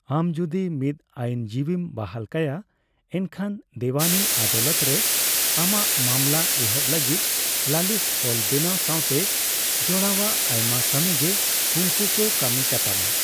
ᱟᱢ ᱡᱩᱫᱤ ᱢᱤᱫ ᱟᱹᱭᱤᱱ ᱡᱤᱵᱤᱢ ᱵᱟᱦᱟᱞ ᱠᱟᱭᱟ, ᱮᱱᱠᱷᱟᱱ ᱫᱮᱣᱟᱱᱤ ᱟᱫᱟᱞᱚᱛ ᱨᱮ ᱟᱢᱟᱜ ᱢᱟᱢᱞᱟ ᱮᱦᱚᱵ ᱞᱟᱹᱜᱤᱫ ᱞᱟᱹᱞᱤᱥ ᱚᱞ ᱵᱮᱱᱟᱣ ᱥᱟᱣᱛᱮ ᱡᱚᱲᱟᱣᱟᱜ ᱟᱭᱢᱟ ᱠᱟᱹᱢᱤᱜᱮ ᱩᱱᱠᱩ ᱠᱚ ᱠᱟᱹᱢᱤ ᱠᱟᱛᱟᱢᱟ ᱾